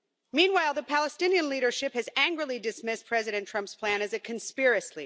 Meanwhile, the Palestinian leadership has angrily dismissed President Trump's plan as a conspiracy.